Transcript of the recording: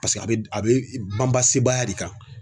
Paseke a bɛ a bɛ ban ba sebaaya de kan.